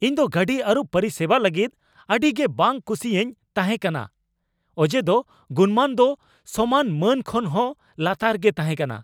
ᱤᱧ ᱫᱚ ᱜᱟᱹᱰᱤ ᱟᱹᱨᱩᱵ ᱯᱚᱨᱤᱥᱮᱵᱟ ᱞᱟᱹᱜᱤᱫ ᱟᱹᱰᱤ ᱜᱤ ᱵᱟᱝ ᱠᱩᱥᱤᱧ ᱛᱟᱸᱦᱮ ᱠᱟᱱᱟ ᱚᱡᱮ ᱫᱚ ᱜᱩᱱᱢᱟᱱ ᱫᱚ ᱥᱚᱢᱟᱱ ᱢᱟᱹᱱ ᱠᱷᱚᱱ ᱦᱚᱸ ᱞᱟᱛᱟᱨ ᱜᱤ ᱛᱟᱦᱮᱸ ᱠᱟᱱᱟ ᱾